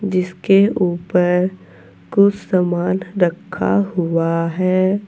जिसके ऊपर कुछ सामान रखा हुआ है।